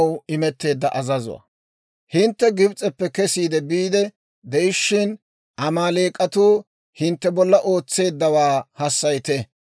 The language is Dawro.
«Hintte Gibs'eppe kesiide biide de'ishshin, Amaaleek'atuu hintte bolla ootseeddawaa hassayite.